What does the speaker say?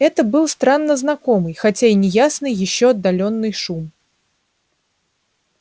это был странно знакомый хотя и неясный ещё отдалённый шум